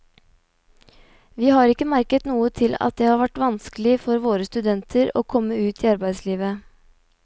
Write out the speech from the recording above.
Vi har ikke merket noe til at det har vært vanskelig for våre studenter å komme ut i arbeidslivet.